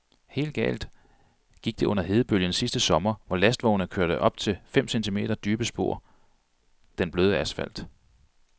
Helt galt gik det under hedebølgen sidste sommer, hvor lastvogne kørte op til fem centimeter dybe spor den bløde asfalt.